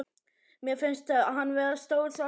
Mér finnst hann vera stór svartur köttur.